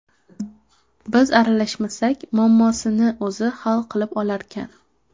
Biz aralashmasak, muammosini o‘zi hal qilib olarkan.